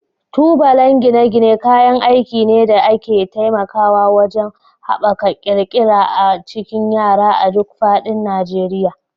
Tubalan gine-gine kayan aiki ne da ke taimakawa wajen haɓaka ƙirƙira a cikin yara a duk faɗin Najeriya.